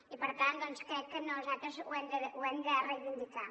i per tant doncs crec que nosaltres ho hem de reivindicar